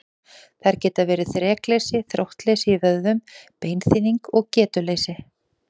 Þær geta verið þrekleysi, þróttleysi í vöðvum, beinþynning og getuleysi.